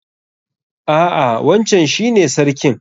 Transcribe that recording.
A'a wancan shi ne sarkin.